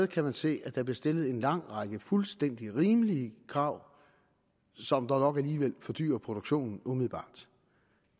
kan man se at der bliver stillet en lang række fuldstændig rimelige krav som dog nok alligevel fordyrer produktionen